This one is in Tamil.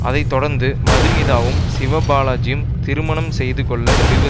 அதை தொடர்ந்து மதுமிதாவும் சிவபாலாஜியும் திருமணம் செய்து கொள்ள முடிவு